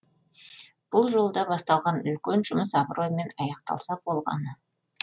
бұл жолда басталған үлкен жұмыс абыроймен аяқталса болғаны